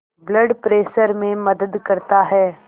blood pressure में मदद करता है